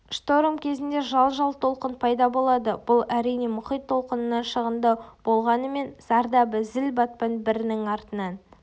шторм кезінде жал-жал толқын пайда болады бұл әрине мұхит толқынынан шағындау болғанымен зардабы зіл-батпан бірінің артынан